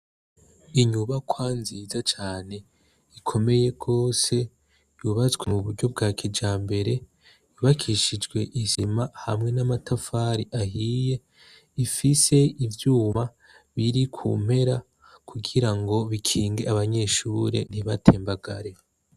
Inyubakwa nziza cane ikomeye gose ,yubatswe mu buryo bwa kijambere, yubakishijwe isima hamwe n' amatafari ahiye, rifise ivyuma biri ku mpera kugirago bikinge abanyeshure ntibatembagare.